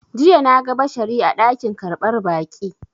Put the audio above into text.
Jiya na ga Bashari a dakin karɓar baƙi.